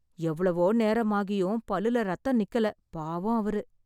எவ்வளோ நேரம் ஆகியும் பல்லுல ரத்தம் நிக்கல பாவம் அவரு